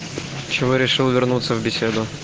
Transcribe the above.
чего решил вернуться в беседу